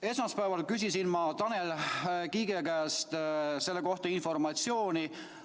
Esmaspäeval küsisin ma Tanel Kiige käest selle kohta informatsiooni.